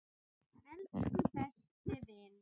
Elsku besti vinur.